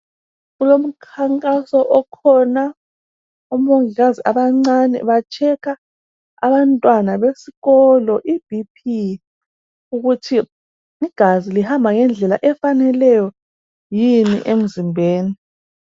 Kulomkhankaso okhona omongikazi abancane bahlola abantwana besikolo iBP ukuthi igazi lihamba ngendlela efaneleyo yini emzimbeni.